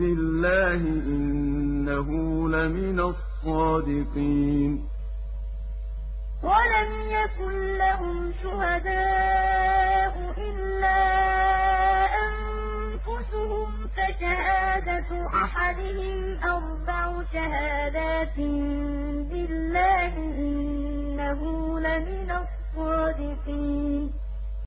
بِاللَّهِ ۙ إِنَّهُ لَمِنَ الصَّادِقِينَ وَالَّذِينَ يَرْمُونَ أَزْوَاجَهُمْ وَلَمْ يَكُن لَّهُمْ شُهَدَاءُ إِلَّا أَنفُسُهُمْ فَشَهَادَةُ أَحَدِهِمْ أَرْبَعُ شَهَادَاتٍ بِاللَّهِ ۙ إِنَّهُ لَمِنَ الصَّادِقِينَ